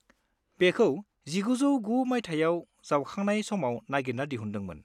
बेखौ 1909 मायथाइयाव जावखांनाय समाव नागिरना दिहुनदोंमोन।